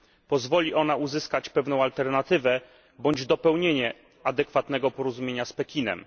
Pozwoli ona uzyskać pewną alternatywę bądź dopełnienie adekwatnego porozumienia z Pekinem.